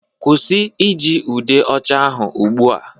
Kwụsị iji ude ocha ahụ ugbu a